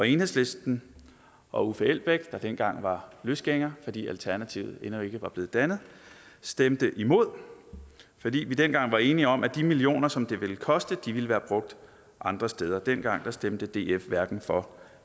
enhedslisten og uffe elbæk der dengang var løsgænger fordi alternativet endnu ikke var blevet dannet stemte imod fordi vi dengang var enige om at de millioner som det ville koste ville være brugt andre steder dengang stemte df hverken for